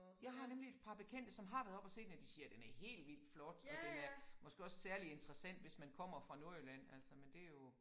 Jeg har nemlig et par bekendte som har været oppe at se den og de siger den er helt vild flot og den er måske også særlig interessant hvis man kommer fra Nordjylland altså men det jo